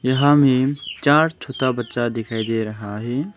यहां में चार छोटा बच्चा दिखाई दे रहा है।